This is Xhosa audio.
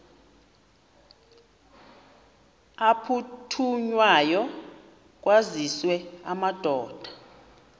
aphuthunywayo kwaziswe amadoda